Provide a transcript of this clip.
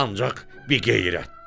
Ancaq biqeyrətdir.